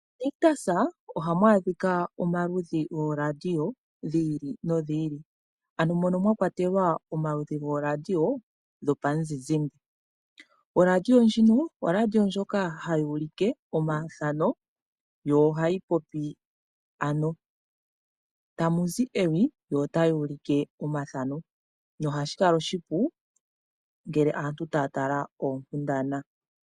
MoNictus ohamu adhika omaludhi gooradio dhi ili nodhi ili. Ano mono mwa kwatelwa omaludhi gooradio dhomuzizimba. Oradio ndjino, oradio ndjoka hayi ulike omathano yo ohayi popi. Tamu zi ewi yo otayi ulike omathano, nohashi kala oshipu ngele aantu taya tala oonkundana.